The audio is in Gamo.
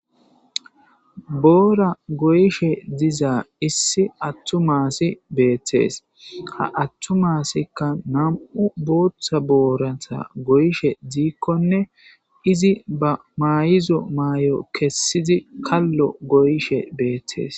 Borra goyishe diza issi atuma assi betesi , ha atuma asikka namu'u botha boratta goyishe dikone izi ba mayidda mayo kessidi kallo goyishe betesi